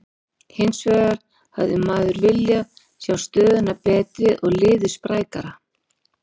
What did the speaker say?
Hinsvegar hefði maður viljað sjá stöðuna betri og liðið sprækara.